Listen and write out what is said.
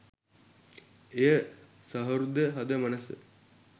එය සහෘද හද මනස